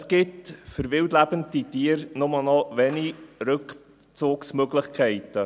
Es gibt für wildlebende Tiere nur noch wenige Rückzugsmöglichkeiten.